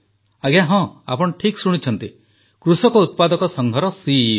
ଆଜ୍ଞା ହଁ ଆପଣ ଠିକ୍ ଶୁଣିଛନ୍ତି କୃଷକ ଉତ୍ପାଦକ ସଂଘର ସିଇଓ